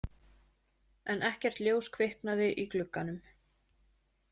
En ekkert ljós kviknaði í glugganum.